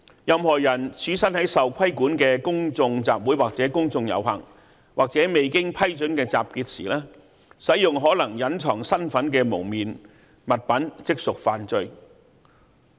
任何人身處受規管的公眾集會或公眾遊行，或未經批准的集結時，使用可能隱藏身份的蒙面物品，即屬犯罪。